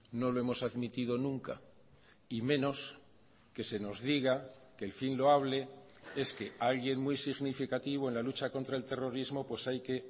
no lo hemos admitido nunca y menos que se nos diga que el fin loable es que alguien muy significativo en la lucha contra el terrorismo hay que